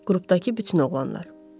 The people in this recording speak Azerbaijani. Qrupdakı bütün oğlanlar.